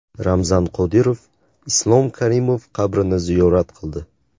Ramzan Qodirov Islom Karimov qabrini ziyorat qildi.